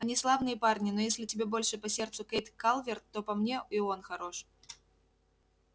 они славные парни но если тебе больше по сердцу кэйд калверт то по мне и он хорош